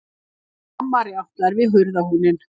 Mamma rjátlar við hurðarhúninn.